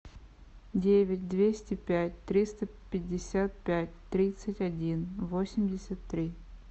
девять двести пять триста пятьдесят пять тридцать один восемьдесят три